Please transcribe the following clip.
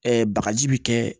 bagaji bi kɛ